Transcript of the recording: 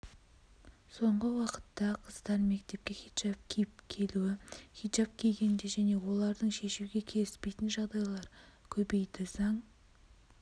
соңғы уақытта қыздар мектепке хиджаб киіп келуі хиджаб кигенде және олардың шешуге келіспейтін жағдайлар көбейді заң